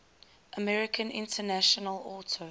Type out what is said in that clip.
american international auto